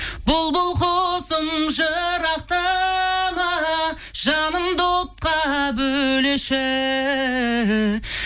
бұлбұл құсым жырақтама жанымды отқа бөлеші